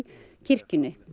kirkjunni